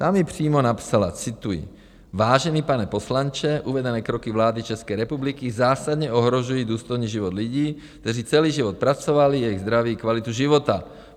Ta mi přímo napsala - cituji: "Vážený pane poslanče, uvedené kroky vlády České republiky zásadně ohrožují důstojný život lidí, kteří celý život pracovali, jejich zdraví, kvalitu života.